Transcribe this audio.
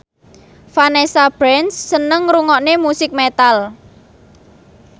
Vanessa Branch seneng ngrungokne musik metal